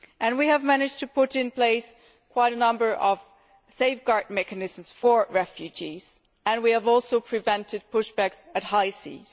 We have managed to put in place quite a number of safeguard mechanisms for refugees and we have also prevented push backs on the high seas.